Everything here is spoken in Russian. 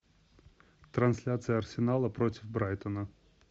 трансляция арсенала против брайтона